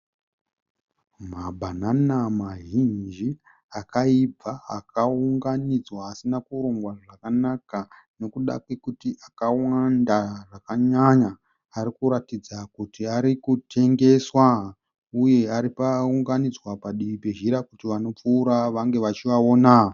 Mabhanana mazhinji akaibva akaunganidzwa asina kurongwa zvakanaka nekuda kwekuti akawanda zvakanyanya. Arikuratidza kuti arikutengeswa uye akaunganidzwa padivi pezhira kuti vanopfuura vange vachiaona.